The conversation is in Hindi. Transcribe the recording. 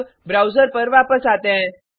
अब ब्राउज़र पर वापस आते हैं